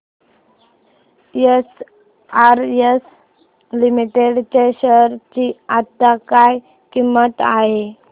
SRS limited च्या share ची आता काय किंमत आहे